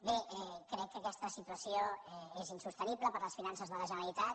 bé crec que aquesta situació és insostenible per a les finances de la generalitat